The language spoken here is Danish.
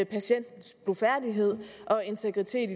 patientens blufærdighed og integritet